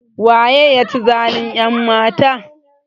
Waye ya ci zalin ƴanmatan?